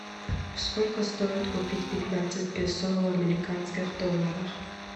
сколько стоит купить пятнадцать песо в американских долларах